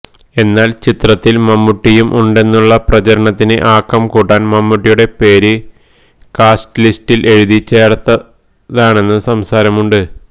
എന്നാല് ചിത്രത്തില് മമ്മൂട്ടിയും ഉണ്ടെന്നുള്ള പ്രചരണത്തിന് ആക്കം കൂട്ടാന് മമ്മൂട്ടിയുടെ പേര് കാസ്റ്റ് ലിസ്റ്റില് എഴുതി ചേര്ത്താണെന്നും സംസാരമുണ്ട്